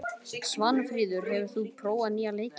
Svanfríður, hefur þú prófað nýja leikinn?